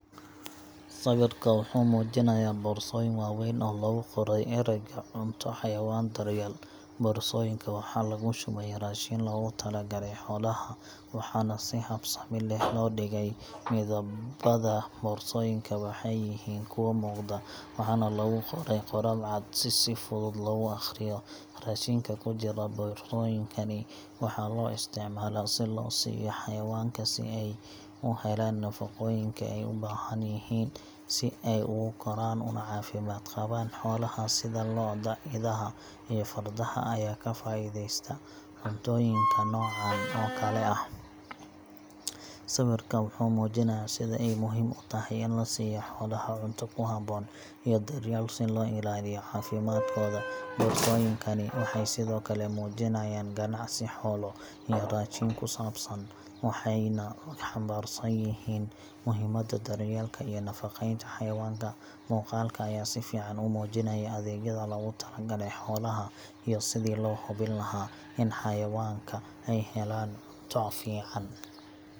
Sawirka wuxuu muujinayaa boorsooyin waaweyn oo lagu qoray erayga Cunto Xayawaan Daryeel. Boorsooyinka waxaa lagu shubay raashin loogu talagalay xoolaha, waxaana si habsami leh loo dhigey. Midabada boorsooyinka waxay yihiin kuwo muuqda, waxaana lagu qoray qoraal cad si si fudud loogu aqriyo. Raashinka ku jira boorsooyinkani waxaa loo isticmaalaa si loo siiyo xayawaanka, si ay u helaan nafaqooyinka ay u baahan yihiin si ay ugu koraan una caafimaad qabaan. Xoolaha sida lo’da, idaha, iyo fardaha ayaa ka faa’iideysta cuntooyinka noocan oo kale ah. Sawirka wuxuu muujinayaa sida ay muhiim u tahay in la siiyo xoolaha cunto ku habboon iyo daryeel si loo ilaaliyo caafimaadkooda. Boorsooyinkani waxay sidoo kale muujinayaan ganacsi xoolo iyo raashin ku saabsan, waxayna xambaarsan yihiin muhiimadda daryeelka iyo nafaqeynta xayawaanka. Muuqaalka ayaa si fiican u muujinaya adeegyada loogu talagalay xoolaha iyo sidii loo hubin lahaa in xayawaanka ay helaan cunto fiican.